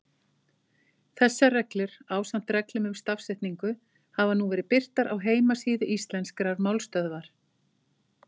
Þessar reglur, ásamt reglum um stafsetningu, hafa nú verið birtar á heimasíðu Íslenskrar málstöðvar.